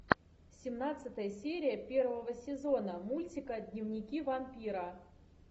семнадцатая серия первого сезона мультика дневники вампира